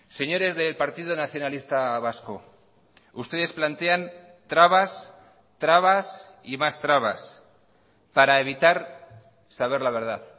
señores del partido nacionalista vasco ustedes plantean trabas trabas y más trabas para evitar saber la verdad